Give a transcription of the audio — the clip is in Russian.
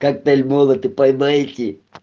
коктейль молоты поймаете